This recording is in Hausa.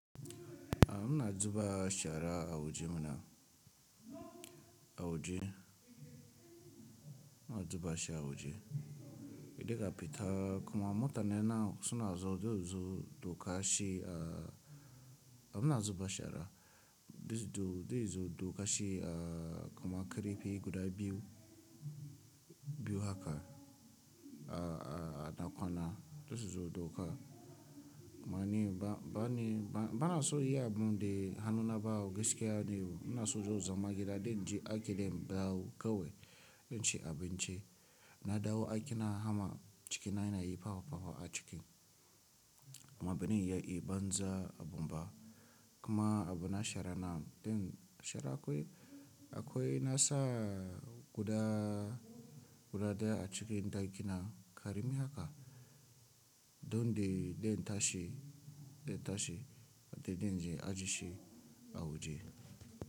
A'a muna zuba shara a waje mana, a waje muna zuba shi a waje. Hedai ka fita kuma mota ne na suna zo, zai zo dauka shi a, a muna zuba shara. Do dai zo dauka shi a kuma ƙarfi guda biyu, biyu haka a na kwana. Dai zo dauka. Ma ni ba, ba ne, ba na so yi abu dai hannuna ba wo gaskiya ne. Muna so zo zama gida dai in je aiƙi ne in dawo kawai in ci abinci. Na dawo aiƙina hama cikina yana yi fafa a ciki. Kuma ba ne ya yi banza a bumba. Kuma abu na shara na, den shara akwai, akwai nasa guda, guda daya a cikin ɗakina ƙarami haka. Don dai den tashi, den tashi dai den je aji shi a waje.